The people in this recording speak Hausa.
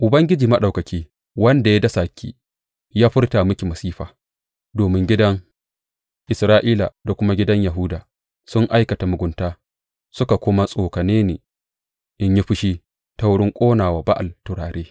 Ubangiji Maɗaukaki, wanda ya dasa ki, ya furta miki masifa, domin gidan Isra’ila da kuma gidan Yahuda sun aikata mugunta suka kuma tsokane ni in yi fushi ta wurin ƙona wa Ba’al turare.